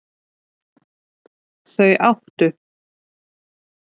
Þau áttu